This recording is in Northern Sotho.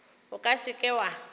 o ka se ke wa